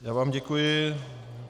Já vám děkuji.